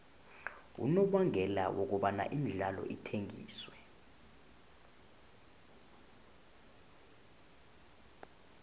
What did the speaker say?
unobangela wokobana imidlalo ithengiswe